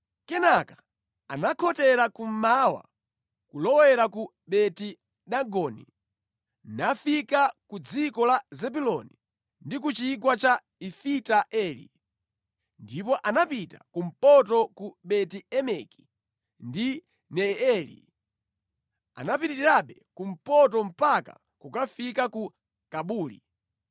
Kenaka anakhotera kummawa kulowera ku Beti-Dagoni nafika ku dziko la Zebuloni ndi ku chigwa cha Ifita Eli, ndipo anapita kumpoto ku Beti-Emeki ndi Neieli. Anapitirirabe kumpoto mpaka kukafika ku Kabuli,